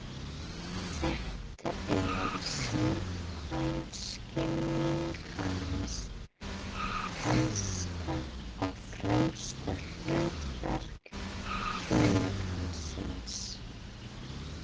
Þetta er, samkvæmt skilningi hans, helsta og fremsta hlutverk hjónabandsins.